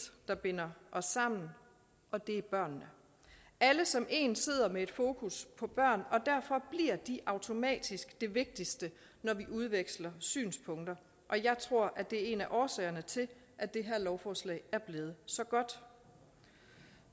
der binder os sammen og det er børnene alle som en sidder med et fokus på børn og de automatisk det vigtigste når vi udveksler synspunkter og jeg tror at det er en af årsagerne til at det her lovforslag er blevet så godt